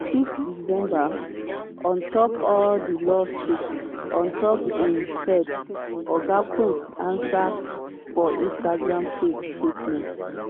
for 6 december on top all di lawsuits on top im head oga combs ansa for instagram page statement.